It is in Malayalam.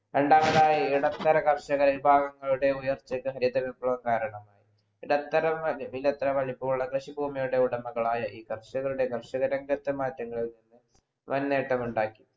രണ്ടാമതായി ഇടത്തരം കർഷകരുടെ വിഭവങ്ങളുടെ ഉയർച്ചയ്ക്ക് ഹരിത വിപ്ലവം കാരണമായി ഇടത്തരമായി ഇടത്തരം വലുപ്പമുള്ള കൃഷിഭൂമിയുടെ ഉടമകളായ ഈ കർഷകരുടെ കർഷക രംഗത്തു മാറ്റങ്ങളിൽ നിന്ന് വാൻ നേട്ടം ഉണ്ടാക്കി